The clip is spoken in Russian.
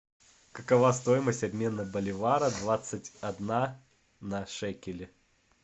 какова стоимость обмена боливара двадцать одна на шекели